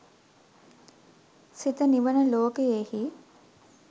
සිත නිවන ලෝකයෙහි